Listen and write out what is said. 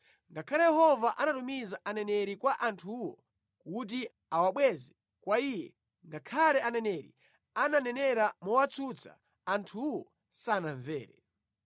Ngakhale Yehova anatumiza aneneri kwa anthuwo kuti awabweze kwa Iye, ngakhale aneneri ananenera mowatsutsa, anthuwo sanamvere.